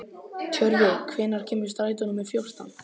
Tjörvi, hvenær kemur strætó númer fjórtán?